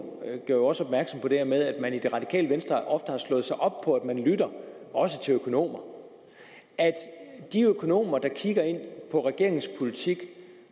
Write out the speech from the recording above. jo også opmærksom på det her med at man i det radikale venstre ofte har slået sig op på at man lytter også til økonomer at de økonomer der kigger på regeringens politik